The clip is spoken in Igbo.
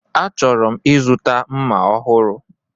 Achọrọ m ịzụta mma ọhụrụ.